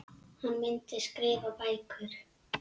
Hann myndi skrifa bækur.